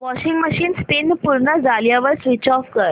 washing machine spin पूर्ण झाल्यावर switch off कर